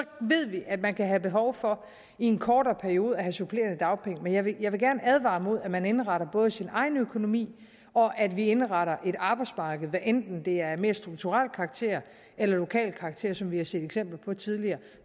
at man kan have behov for i en kortere periode at få supplerende dagpenge men jeg vil gerne advare mod både at man indretter sin egen økonomi og at vi indretter et arbejdsmarked hvad enten det er af mere strukturel karakter eller lokal karakter som vi har set eksempler på tidligere